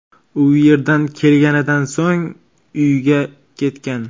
U yerdan kelganidan so‘ng uyiga ketgan.